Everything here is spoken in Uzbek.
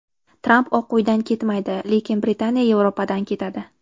Tramp Oq Uydan ketmaydi, lekin Britaniya Yevropadan ketadi.